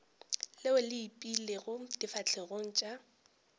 leo le ipeilego difahlegong tša